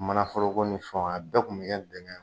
Mana foro ko ni fɛnw, a bɛɛ kun bɛ kɛ bɛnkan ye.